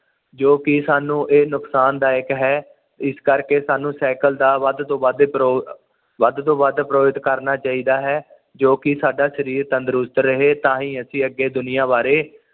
ਜੋ ਕਿ ਸਾਨੂੰ ਇਹ ਨੁਕਸਾਨਦਾਇਕ ਹੈ ਇਸ ਕਰਕੇ ਸਾਨੂੰ ਸਾਈਕਲ ਦਾ ਵੱਧ ਤੋਂ ਵੱਧ ਪਰਹੋ ਵੱਧ ਤੋਂ ਵੱਧ ਪਰਹੋ ਕਰਨਾ ਚਾਹੀਦਾ ਹੈ ਜੋ ਕਿ ਸਾਡਾ ਸਰੀਰ ਤੰਦਰੁਸਤ ਰਹੇ ਤਾਹੀ ਅਸੀਂ ਅੱਗੇ ਦੁਨੀਆਂ ਬਾਰੇ